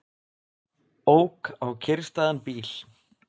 Ók á kyrrstæðan bíl